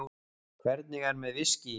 Hvernig er með viskíið?